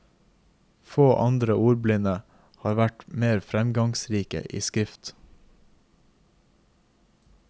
Få andre ordblinde har vært mer fremgangsrike i skrift.